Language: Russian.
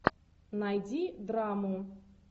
найди драму